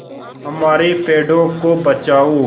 हमारे पेड़ों को बचाओ